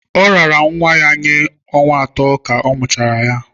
Ọ raara nwa ya nye ọnwa atọ ka a mụchara ya.